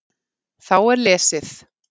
Þá er lesið